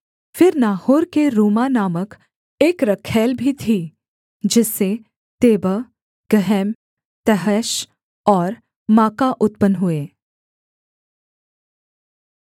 फिर नाहोर के रूमा नामक एक रखैल भी थी जिससे तेबह गहम तहश और माका उत्पन्न हुए